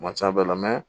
A ma ca bɛɛ la